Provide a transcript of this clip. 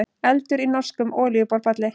Eldur í norskum olíuborpalli